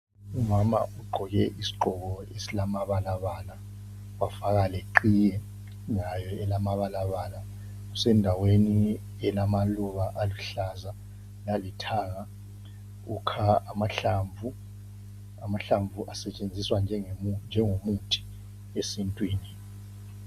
Umama ugqoke isigqoko esilamabalabala wafaka leqhiye layo elamabalabala usendaweni elamaluba aluhlaza lalithanga ukha amahlamvu, amahlamvu asetshenziswa njengomuthi esintwini.